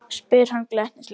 spyr hann glettnislega.